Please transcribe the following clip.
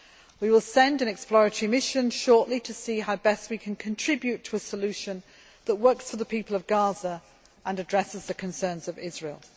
We will send an exploratory mission shortly to see how we can best contribute to a solution which works for the people of Gaza and addresses the concerns of Israel.